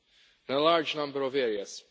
in a large number of areas.